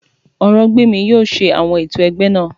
Orògbèmí yóò ṣe àwọn ètò ẹgbẹ́ náà